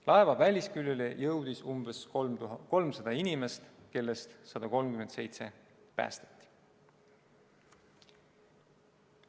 Laeva välisküljele jõudis umbes 300 inimest, kellest 137 päästeti.